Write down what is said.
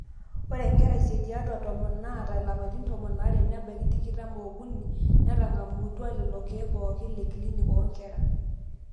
ore inkera isiet tiatwa tomon naata ilapaitin tomon aare nebaiki tikitam ookuni netang'amutwa lelo keek pooke le clinc oonkera